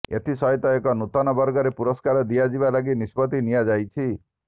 ଏଥିସହିତ ଏକ ନୂତନ ବର୍ଗରେ ପୁରସ୍କାର ଦିଆଯିବା ଲାଗି ନିଷ୍ପତି ନିଆଯାଇଛି